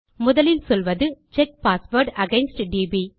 முதலில் சொல்வது check password against DP